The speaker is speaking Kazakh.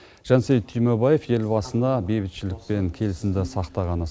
жансейіт түймебаев елбасына бейбітшілік пен келісімді сақтағаны